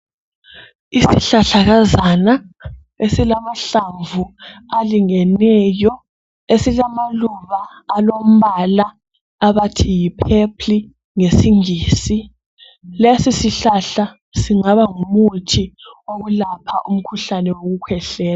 isihlahalakazana esilahlamvu alingeneyo esilamaluba alombala abathi yi purple ngesingisi lesi sihlahla singaba ngumuthi wokulapha, umuthi wokukhwehlela